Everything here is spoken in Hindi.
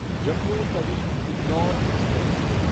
जम्मू तवी इंडोर एक्सप्रेस